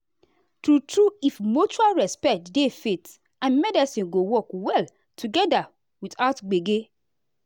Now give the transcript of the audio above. true true if mutual respect dey faith and medicine go work well together without gbege.